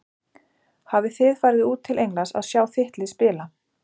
Hafið þið farið út til Englands að sjá þitt lið spila?